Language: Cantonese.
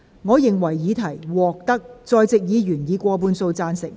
我認為議題獲得在席議員以過半數贊成。